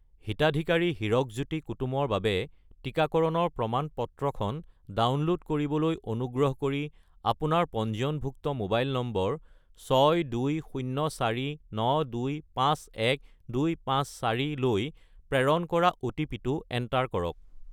হিতাধিকাৰী হিৰকজ্যোতি কুতুম ৰ বাবে টিকাকৰণৰ প্ৰমাণ-পত্ৰখন ডাউনলোড কৰিবলৈ অনুগ্ৰহ কৰি আপোনাৰ পঞ্জীয়নভুক্ত মোবাইল নম্বৰ 62049251254 লৈ প্ৰেৰণ কৰা অ'টিপি-টো এণ্টাৰ কৰক।